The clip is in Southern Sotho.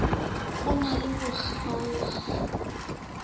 ho na le ho kgaokg